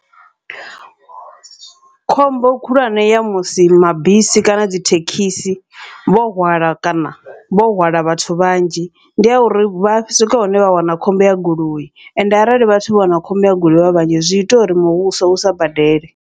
Khombo khulwane ya musi mabisi kana dzi thekhisi vho hwala kana vho hwala vhathu vhanzhi, ndi ya uri vha swika hune vha wana khombo ya goloi ende arali vhathu vho wana khombo ya goloi vha vhanzhi zwi ita uri muvhuso usa badele.